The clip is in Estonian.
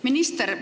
Minister!